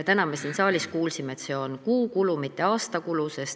Täna me siin saalis kuulsime, et see on kuukulu, mitte aastakulu.